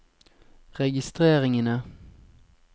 registreringene